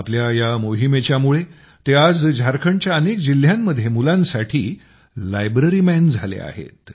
आपल्या या मोहीमेच्या मुळे ते आज झारखंडच्या अनेक जिल्हयांमध्ये मुलांसाठी लायब्ररी मॅन झाले आहेत